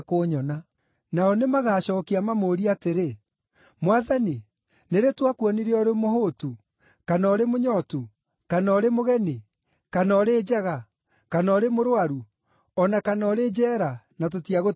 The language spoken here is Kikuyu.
“Nao nĩmagacookia, mamũũrie atĩrĩ, ‘Mwathani, nĩ rĩ twakuonire ũrĩ mũhũũtu, kana ũrĩ mũnyootu, kana ũrĩ mũgeni, kana ũrĩ njaga, kana ũrĩ mũrũaru, o na kana ũrĩ njeera na tũtiagũteithirie?’